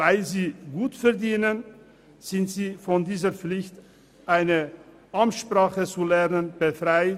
Weil sie aber gut verdienen, sind sie von dieser Pflicht befreit.